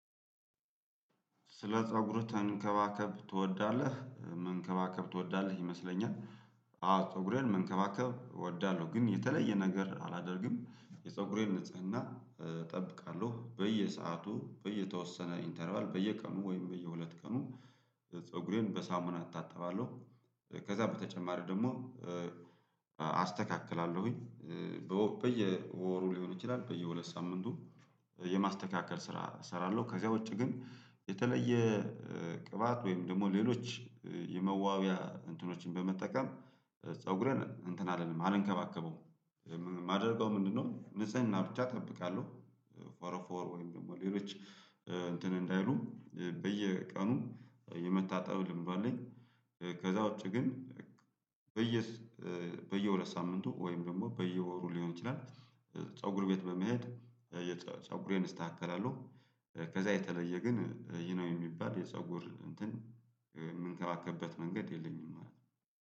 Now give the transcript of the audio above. ስለ ፀጉርህ ተንከባከብ ትወዳለህ መንከባከብ ትወዳለህ ይመስለኛል? አዎ ፀጉሬን መንከባከብ እወዳለሁ ግን የተለየ ነገር አላደርግም የፀጉሬን ንጽህና እ እጠብቃለሁ በየሰአቱ በየተወሰነ ኢንተርባል በየቀኑ ወይም በየሁለት ቀኑ ፀጉሬን በሳሙና አታጥባለሁ። ከዛ በተጨማሪ ደግሞ እ አስተካክላለሁኝ በየወሩ ሊሆን ይችላል በየሁለት ሳምንቱ የማስተካከል ስራ እሰራለሁ። ከዚያ ውጪ ግን የተለየ እ ቅባት ወይም ደግሞ ሌሎች የመዋብያ እንትኖችን በመጠቀም እ ፀጉርን እንትን አልለም አልንከባከበውም። የማደርገው ምንድነው? ንጽህና ብቻ እጠብቃለሁ ፎርፎር ወይም ደግሞ ሌሎች እንትን እ እንዳይሉ በየቀኑ የመታጠብ ልምዱ አለኝ። ከዛ ውጪ ግን በየስ እ በየሁለት ሳምንቱ ወይም ደግሞ በየወሩ ሊሆን ይችላል ፀጉር ቤት በመሄድ እየጸ ፀጉሬን እስታከላለሁ። ከዛ የተለየ ግን ይህ ነው የሚባል የፀጉር እንትን የምንከባከበት መንገድ የለኝም ማለት ነው